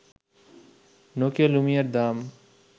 Nokia লুমিয়ার দাম